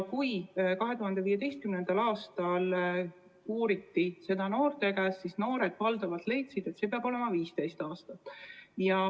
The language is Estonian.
Kui 2015. aastal küsiti seda noorte endi käest, siis noored valdavalt leidsid, et see peab olema 15 aastat.